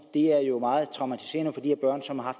det er jo meget traumatiserende for de her børn som har